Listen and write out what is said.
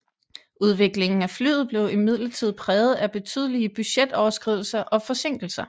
Udviklingen af flyet blev imidlertid præget af betydelige budgetoverskridelser og forsinkelser